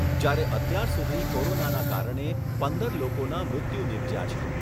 જ્યારે અત્યાર સુધી કોરોનાનાં કારણે પંદર લોકોના મૃત્યુ નિપજ્યા છે.